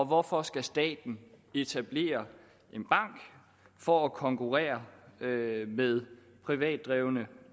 hvorfor skal staten etablere en bank for at konkurrere med med privatdrevne